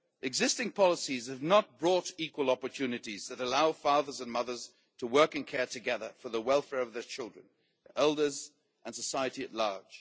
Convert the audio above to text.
Existing policies have not brought equal opportunities that allow fathers and mothers to work in care together for the welfare of their children, elders and society at large.